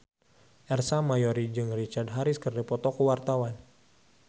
Ersa Mayori jeung Richard Harris keur dipoto ku wartawan